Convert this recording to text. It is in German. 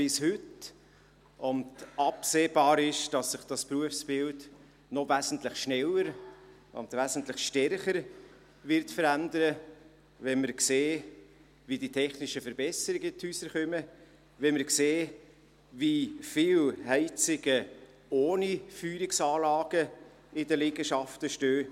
Absehbar ist, dass sich das Berufsbild noch wesentlich schneller und wesentlich stärker verändern wird, wenn man sieht, wie die technischen Verbesserungen in die Häuser kommen, wenn man sieht, wie viele Heizungen ohne Feuerungsanlagen in den Liegenschaften stehen.